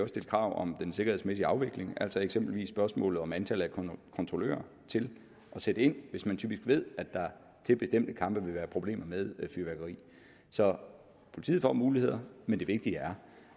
stille krav om den sikkerhedsmæssige afvikling altså eksempelvis spørgsmålet om antallet af kontrollører til at sætte ind hvis man ved at der til bestemte kampe typisk vil være problemer med fyrværkeri så politiet får muligheder men det vigtige er